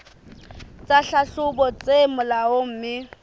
tsa tlhahlobo tse molaong mme